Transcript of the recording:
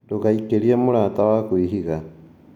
Ndũga ikĩrie mũrata waku ihiga